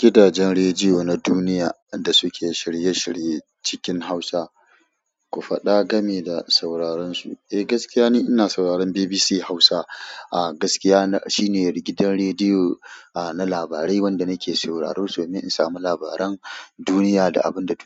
Gidajen rediyo na duniya da suke shirye-shirye cikin Hausa, ku faɗa game da sauraren su. Eh, gaskiya ne ina sauraron BBC Hausa. A gaskiyagidan rediyo gidan